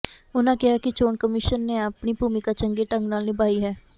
ਉਨ੍ਹਾ ਕਿਹਾ ਕਿ ਚੋਣ ਕਮਿਸ਼ਨ ਨੇ ਆਪਣੀ ਭੂਮਿਕਾ ਚੰਗੇ ਢੰਗ ਨਾਲ ਨਿਭਾਈ ਹੈ